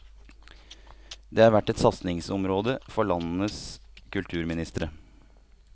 Det har vært et satsingsområde for landenes kulturministre.